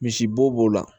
Misi bo b'o la